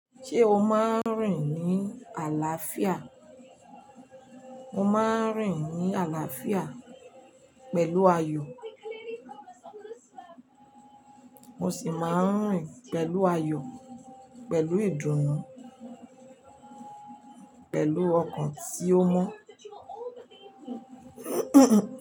Ṣé o máa ń rìn ní àlàáfíà? Mo máa ń rìn ní àlàáfíà pẹ̀lú ayọ̀, mo sì máa ń rìn pẹ̀lú ayọ̀, pẹ̀lú ìdùnnú, pẹ̀lú ọkàn tí ó mọ́.